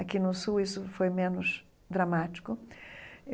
Aqui no sul isso foi menos dramático.